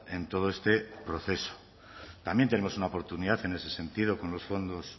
en todo este proceso también tenemos una oportunidad en ese sentido con los fondos